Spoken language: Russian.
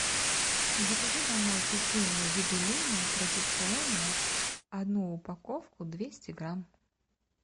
закажи домой печенье юбилейное традиционное одну упаковку двести грамм